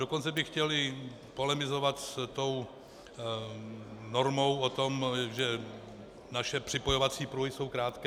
Dokonce bych chtěl i polemizovat s tou normou o tom, že naše připojovací pruhy jsou krátké.